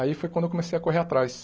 Aí foi quando eu comecei a correr atrás.